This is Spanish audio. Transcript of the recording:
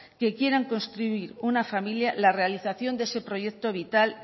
que quieran construir una familia la realización de ese proyecto vital